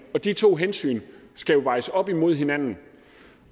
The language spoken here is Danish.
de to hensyn skal jo vejes op imod hinanden